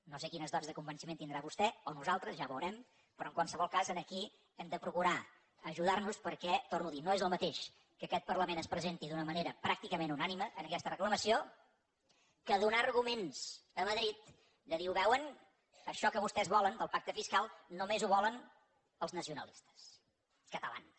no sé quins dots de convenciment tindrà vostè o nosaltres ja ho veurem però en qualsevol cas aquí hem de procurar ajudar nos perquè ho torno a dir no és el mateix que aquest parlament es presenti d’una manera pràcticament unànime en aquesta reclamació que donar arguments a madrid de dir ho veuen això que vostès volen del pacte fiscal només ho volen els nacionalistes catalans